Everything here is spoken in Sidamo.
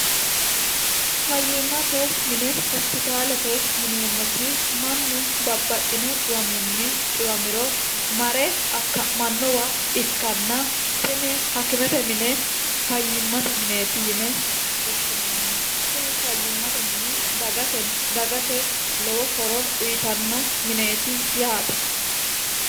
fayyimmate mine hospitaalete yineemmoti mannu babbaxxino xiwaminni xiwamiro mare akka'mannowa ikkanna tenne hakkimete mine fayyimmate mineeti yine hoshshineemmo tini fayyimmate mini dagate dagate lowo horo uyitanno mineeti yaate